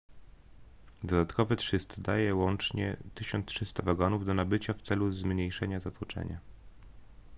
dodatkowe 300 daje łącznie 1300 wagonów do nabycia w celu zmniejszenia zatłoczenia